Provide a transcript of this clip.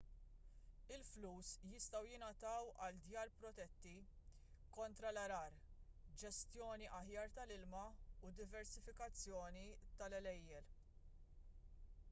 il-flus jistgħu jingħataw għal djar protetti kontra l-għargħar ġestjoni aħjar tal-ilma u diversifikazzjoni tal-għelejjel